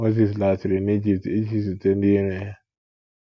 Mozis laghachiri n’Ijipt iji zute ndị iro ya.